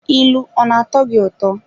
ilu ọ na-atọ gị ụtọ?